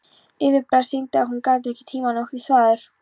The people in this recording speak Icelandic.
Yfirbragðið sýndi að hún gat eytt tímanum í þvaður.